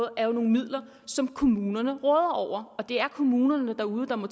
er jo nogle midler som kommunerne råder over og det er kommunerne derude der må